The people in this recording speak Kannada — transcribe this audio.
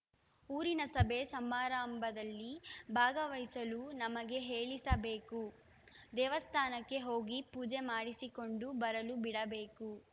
ಊರಿನ ಸಭೆ ಸಮಾರಂಭದಲ್ಲಿ ಭಾಗವಹಿಸಲು ನಮಗೆ ಹೇಳಿಸಬೇಕು ದೇವಸ್ಥಾನಕ್ಕೆ ಹೋಗಿ ಪೂಜೆ ಮಾಡಿಸಿಕೊಂಡು ಬರಲು ಬಿಡಬೇಕು